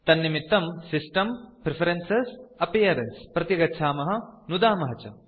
तन्निमित्तं सिस्टेम्ग्ट्प्रेफरेन प्रति गच्छामः तत्र नुदामः च